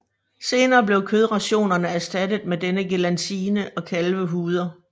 Senere blev kødrationerne erstattet med denne gelatine og kalvehuder